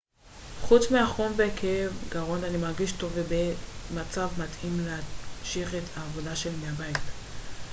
חוץ מהחום וכאב גרון אני מרגיש טוב ובמצב מתאים להמשיך את העבודה שלי מהבית